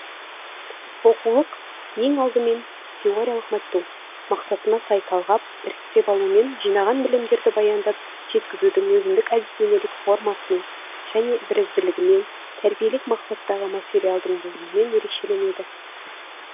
оқулық ең алдымен теориялық материалды оқыту мақсатына сай талғап іріктеп алуымен жинаған білімдерді баяндап жеткізудің өзіндік әдістемелік формасымен және бірізділігімен тәрбиелік мақсаттағы материалдың болуымен ерекшеленеді